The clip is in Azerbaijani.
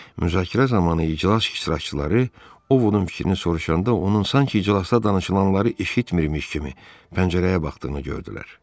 Müzakirə zamanı iclas iştirakçıları Ovodun fikrini soruşanda onun sanki iclasda danışılanları eşitmirmiş kimi pəncərəyə baxdığını gördülər.